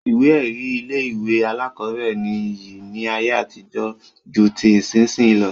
Ìwé ẹ̀rí ilé-ìwé alákọ̀ọ́bẹ̀rẹ̀ ní iyì ní ayé àtijó ju ti ìsinsìnyí lọ.